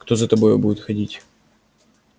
кто за тобою будет ходить